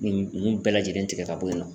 Nin nunnu bɛɛ lajɛlen tigɛ ka bɔ yen nɔ.